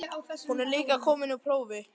Hún er líka að koma úr prófi.